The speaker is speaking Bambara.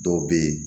Dɔw bɛ ye